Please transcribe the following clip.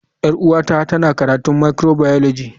Yar uwata tana karatun microbiology.